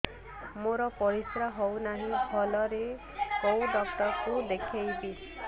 ମୋର ପରିଶ୍ରା ହଉନାହିଁ ଭଲରେ କୋଉ ଡକ୍ଟର କୁ ଦେଖେଇବି